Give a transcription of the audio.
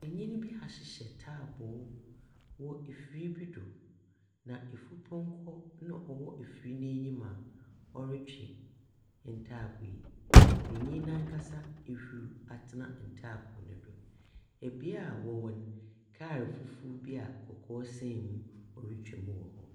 Ɔpanyin bi ahyehyɛ ntaaboo wɔ afiri bi so na afurupɔnkɔ wɔ afiri n'anim a ɔtwe ntaaboo no ɔpanyin nankasa ahuruw atena ntaaboo no so beae a wɔwɔ no kaa foforo bi a kɔkɔɔ san mu retwa mu wɔ hɔ.